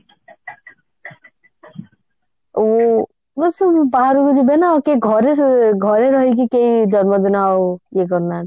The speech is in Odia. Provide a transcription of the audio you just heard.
ଓ ହଁ ସେମାନେ ବାହାରକୁ ଯିବେ ନା କିଏ ଘରେ ଘରେ ରହିକି କେହି ଜନ୍ମଦିନ ଆଉ ଇଏ କରୁନାହାନ୍ତି